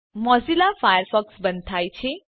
Mozilla Firefox બંધ થાય છે